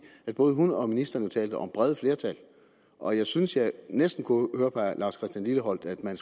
både hun og ministeren jo talte om brede flertal og jeg synes jeg næsten kunne høre på herre lars christian lilleholt at man